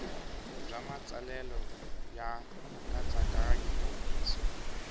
bya matsalelo ya nkatsakanyo nkomiso